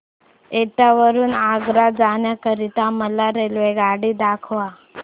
एटा वरून आग्रा जाण्या करीता मला रेल्वेगाडी दाखवा